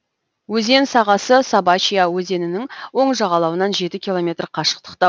өзен сағасы собачья өзенінің оң жағалауынан жеті километр қашықтықта